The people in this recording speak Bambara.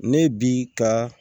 Ne bi ka